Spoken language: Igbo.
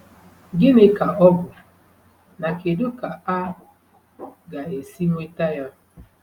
Gịnị ka ọ bụ, na kedu ka a ga-esi nweta ya?